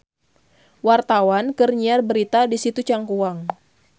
Wartawan keur nyiar berita di Situ Cangkuang